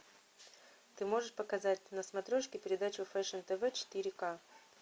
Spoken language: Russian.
ты можешь показать на смотрежке передачу фешн тв четыре ка